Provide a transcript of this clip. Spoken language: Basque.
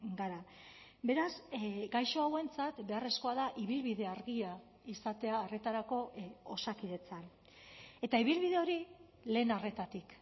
gara beraz gaixo hauentzat beharrezkoa da ibilbide argia izatea arretarako osakidetzan eta ibilbide hori lehen arretatik